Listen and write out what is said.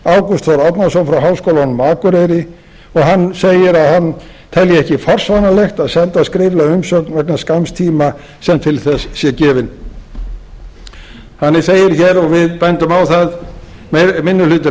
frá háskólanum á akureyri og hann segir að hann telji ekki forsvaranlegt að senda skriflega umsögn vegna skamms tíma sem til þess sé gefinn þannig segir hér og við bendum á það minni hluti